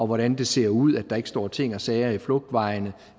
hvordan det ser ud at der ikke står ting og sager i flugtvejene